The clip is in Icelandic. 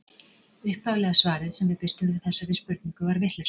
Upphaflega svarið sem við birtum við þessari spurningu var vitlaust.